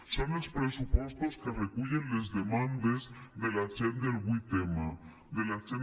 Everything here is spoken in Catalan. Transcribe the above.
són els pressupostos que recullen les demandes de la gent del vuit m de la gent